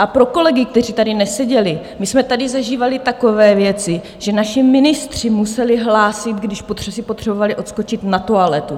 A pro kolegy, kteří tady neseděli: my jsme tady zažívali takové věci, že naši ministři museli hlásit, když si potřebovali odskočit na toaletu.